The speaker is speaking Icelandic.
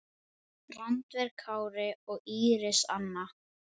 Randver Kári og Íris Anna.